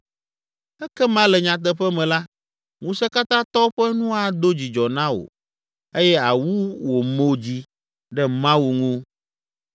Ekema le nyateƒe me la, Ŋusẽkatãtɔ ƒe nu ado dzidzɔ na wò eye àwu wò mo dzi ɖe Mawu ŋu.